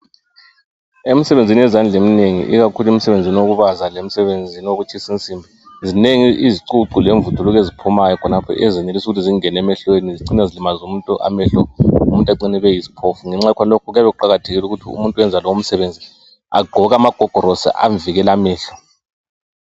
Imsebenzi yezandla eminengi ikakhulu emsebenzini wokubaza lemsebenzini owokutshisa insimbi zinengi izicucu lemvuthu eziphumayo khonapha ezenelisa ukuthi zingene emehlweni zicine zilimaze umuntu amehlo umuntu ecine ebe yisiphofu. Ngenxa yakhonalokho kuyabe kuqakathekile ukuthi umuntu oyenza lomsebenzi agqoke amagogorosi amvikela amehlo.